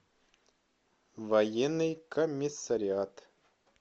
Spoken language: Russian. военный комиссариат